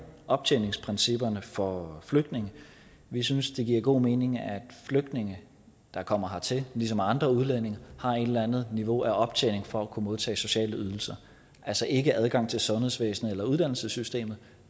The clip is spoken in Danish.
optjeningsprincipperne for flygtninge vi synes det giver god mening at flygtninge der kommer hertil ligesom andre udlændinge har et eller andet niveau af optjening for at kunne modtage sociale ydelser altså ikke adgang til sundhedsvæsenet eller uddannelsessystemet